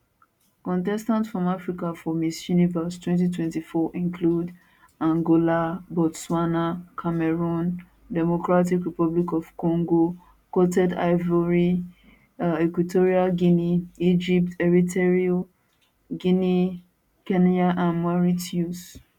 contestants from africa for miss universe 2024 includeangola botswana cameroon democratic republic of congo coted ivoire equatorial guinea egypt eritrea guinea kenya and mauritius